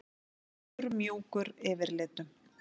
Og allur mjúkur yfirlitum.